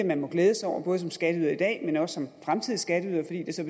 man må glæde sig over både som skatteyder i dag og som fremtidig skatteyder fordi det så